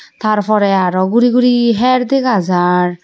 tar porey aro guri guri hyer dega jar.